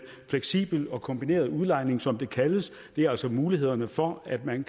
fleksibel og kombineret udlejning som det kaldes det er altså mulighederne for at man